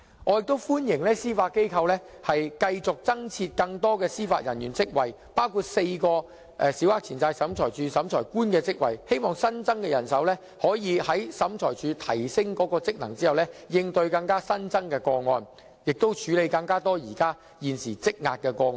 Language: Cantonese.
我亦歡迎司法機構繼續增設更多司法人員職位，包括4個審裁處審裁官的職位，希望新增的人手在審裁處提升職能後可應對新增的個案，以及處理現時積壓的個案。